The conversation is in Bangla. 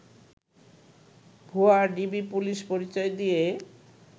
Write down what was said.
ভুয়া ডিবি পুলিশ পরিচয় দিয়ে